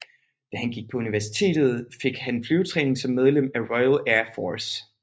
Da han gik på universitet fik han flyvetræning som medlem af Royal Air Force